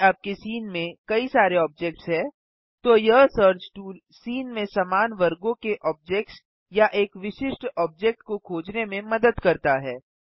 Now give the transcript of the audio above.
यदि आपके सीन में कई सारे ऑब्जेक्ट्स हैं तो यह सर्च टूल सीन में समान वर्गों के ऑब्जेक्ट्स या एक विशिष्ट ऑब्जेक्ट को खोजने में मदद करता है